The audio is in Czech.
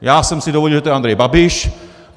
Já jsem si dovodil, že to je Andrej Babiš.